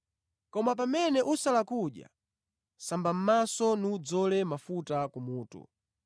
Koma pamene ukusala kudya, samba mʼmaso nudzole mafuta kumutu,